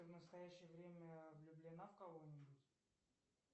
в настоящее время влюблена в кого нибудь